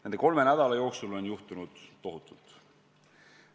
Nende kolme nädala jooksul on juhtunud tohutult.